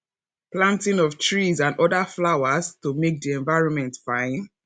planting of trees and oda flowers to make di environment fine